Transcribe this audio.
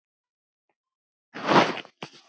Þetta er ekki einfalt ferli.